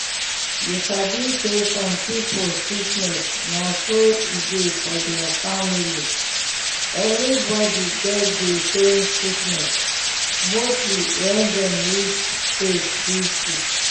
you sabi say some pipu sickness na so e dey for deir family everybody get dey same sickness mostly wen dem reach age 50